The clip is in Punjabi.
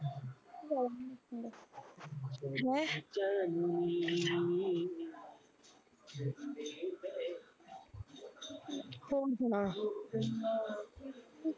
ਹੈਂ ਹੋਰ ਸੁਣਾ